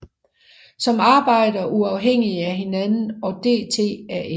Som arbejder uafhængigt af hinanden og DTaF